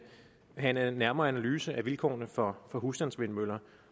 have en nærmere analyse af vilkårene for husstandsvindmøller